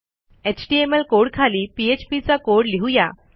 HTML कोडखाली PHP चा code लिहू या